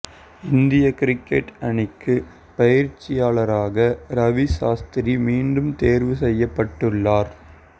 இந்திய கிரிக்கெட் அணிக்கு பயிற்சியாளராக ரவி சாஸ்திரி மீண்டும் தேர்வு செய்யப்பட்டுள்ளார்